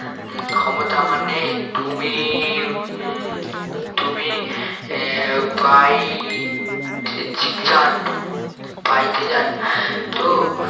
উম ক্ষমতা আমার নেই তুমি উম তুমি আহ বাইতে জান বাইতে জানেন তো